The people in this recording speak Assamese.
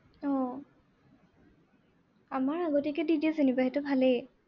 আহ আমাৰ আগতীয়াকে দি দিয়ে যেনিবা সেইটো ভালেই।